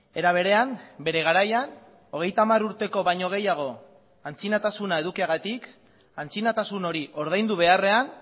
era berean bere garaian hogeita hamar urteko baino gehiago antzinatasuna edukiagatik antzinatasun hori ordaindu beharrean